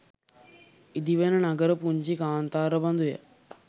ඉදිවෙන නගර පුංචි කාන්තාර බඳුය.